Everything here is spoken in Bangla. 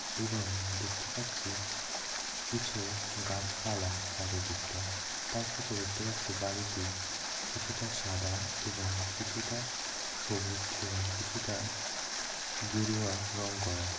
এবং দেখতে পাচ্ছি কিছু গাছপালা চারিদিকটায় তার সাথে দেখতে পাচ্ছি বাড়িটি কিছুটা সাদা এবং কিছুটা সবুজ এবং কিছুটা গেরুয়া রং করা।